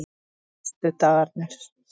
föstudagarnir